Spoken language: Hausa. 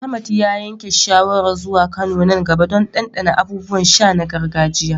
Ahmad ya yanke shawarar zuwa Kano nan gaba don ɗanɗana abubuwan sha na gargajiya.